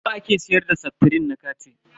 Nawa aka siyar da seftrin na kati?